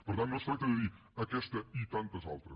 per tant no es tracta de dir aquesta i tantes altres